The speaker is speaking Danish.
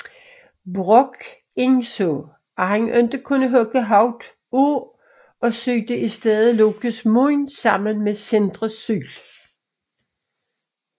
Brokk indså at han ikke kunne hugge hovedet af og syede i stedet Lokes mund sammen med Sindres syl